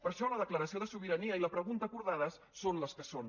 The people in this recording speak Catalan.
per això la declaració de sobirania i la pregunta acordades són les que són